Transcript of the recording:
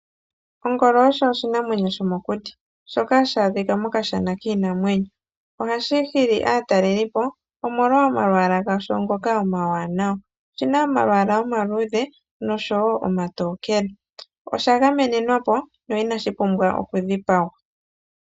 Ongolo osho oshinamwenyo shomokuti shoka hashi adhika mokashana kiinamwenyo. Ohashi hili aatalelipo, omolwa omalwaala gasho ngoka omawanawa. Oshi na omalwaala omaluudhe, nosho wo omatokele. Osha gamenenwa po, no inashi pumbwa okudhipagwa.